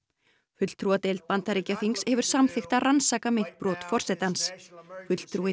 fulltrúadeild Bandaríkjaþings hefur samþykkt að rannsaka meint brot forsetans fulltrúi